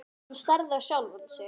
Hann starði á sjálfan sig.